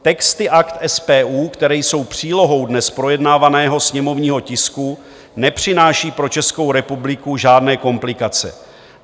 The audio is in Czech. Texty Akt SPU, které jsou přílohou dnes projednávaného sněmovního tisku, nepřináší pro Českou republiku žádné komplikace.